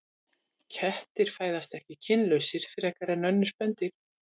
Kettir fæðast ekki kynlausir frekar en önnur spendýr.